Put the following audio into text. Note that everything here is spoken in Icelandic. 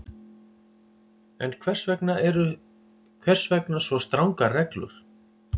En hvers vegna svo strangar reglur?